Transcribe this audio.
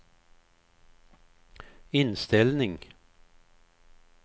inställning